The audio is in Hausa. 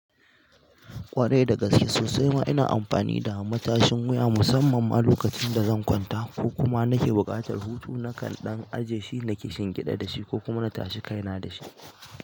Ƙwarai da gaske sosai ma ina amfani da matashin wuya musamman a lokacin da zan kwanta ko kuma nake buƙatar hutu nakan dan aje shi naki shingiɗa da shi ko kuma na tashi kaina da shi.